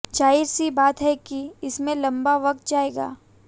जाहिर सी बात है कि इसमें लंबा वक्त जाएगा